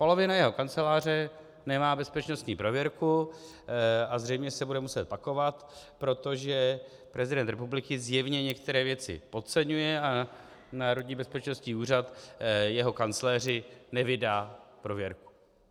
Polovina jeho Kanceláře nemá bezpečnostní prověrku a zřejmě se bude muset pakovat, protože prezident republiky zjevně některé věci podceňuje a Národní bezpečnostní úřad jeho kancléři nevydá prověrku.